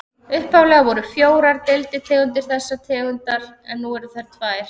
Upphaflega voru fjórar deilitegundir þessarar tegundar en nú eru þær tvær.